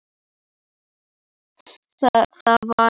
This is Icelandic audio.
Það var heitt inni, og við urðum rauðir í framan.